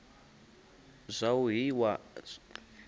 zwa u hira na u